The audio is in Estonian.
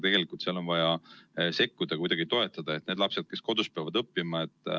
Tegelikult on vaja sekkuda, kuidagi toetada peresid, kelle lapsed peavad kodus õppima.